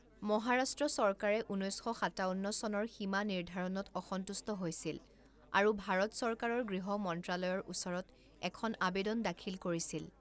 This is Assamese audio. মহাৰাষ্ট্ৰ চৰকাৰে ঊনৈছ শ সাতাৱন্ন চনৰ সীমা নিৰ্ধাৰণত অসন্তুষ্ট হৈছিল আৰু ভাৰত চৰকাৰৰ গৃহ মন্ত্ৰালয়ৰ ওচৰত এখন আবেদন দাখিল কৰিছিল।